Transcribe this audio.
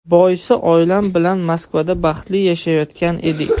Boisi oilam bilan Moskvada baxtli yashayotgan edik.